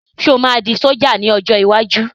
Sọ ma di ṣọ̀já ní ọjọ́ iwájú?